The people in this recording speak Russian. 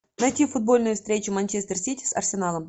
найти футбольную встречу манчестер сити с арсеналом